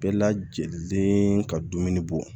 Bɛɛ lajiginlen ka dumuni bɔ